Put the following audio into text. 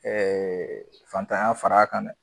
fantanya fara a kan dɛ.